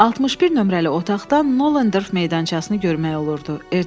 61 nömrəli otaqdan Noderf meydançasını görmək olurdu.